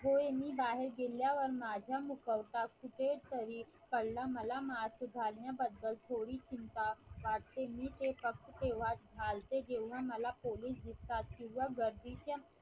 होय मी बाहेर गेल्यावर माझ्या मुखवटा कुठेतरी कळलं मला mask घालण्याबद्दल थोडी चिंता वाटते मी ते फक्त तेव्हाच जेव्हा मला पोलीस दिसतात किंव्हा गर्दीच्या